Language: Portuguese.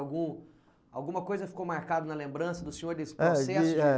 Algum alguma coisa ficou marcada na lembrança do senhor nesse processo? É, de , eh